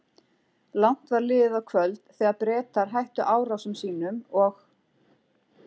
Langt var liðið á kvöld, þegar Bretar hættu árásum sínum og